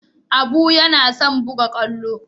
Abu yana son buga kwallo.